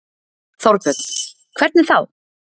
Þorbjörn: Hvernig þá?